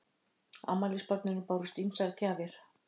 Afmælisbarninu bárust ýmsar gjafir